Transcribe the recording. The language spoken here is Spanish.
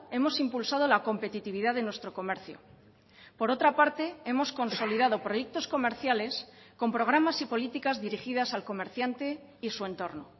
hemos impulsado la competitividad de nuestro comercio por otra parte hemos consolidado proyectos comerciales con programas y políticas dirigidas al comerciante y su entorno